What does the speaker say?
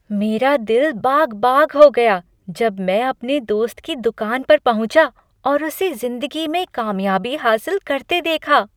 मेरा दिल बाग बाग हो गया जब मैं अपने दोस्त की दुकान पर पहुँचा और उसे ज़िंदगी में कामयाबी हासिल करते देखा।